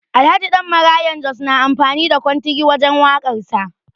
Alhaji Dan Maraya Jos na amfani da kontigi wajen waƙar sa